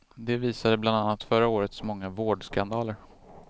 Det visade bland annat förra årets många vårdskandaler.